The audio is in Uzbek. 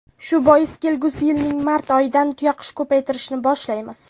Shu bois kelgusi yilning mart oyidan tuyaqush ko‘paytirishni boshlaymiz.